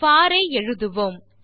போர் ஐ எழுதுவோம்